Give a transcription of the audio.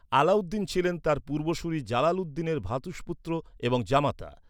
আলাউদ্দিন ছিলেন তার পূর্বসূরি জালালউদ্দিনের ভ্রাতুষ্পুত্র এবং জামাতা।